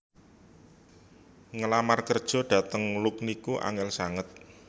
Ngelamar kerjo dateng Look niku angel sanget